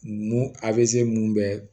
Mun a bɛ se mun bɛɛ